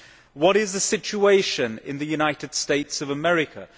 What is the situation in the United States of America?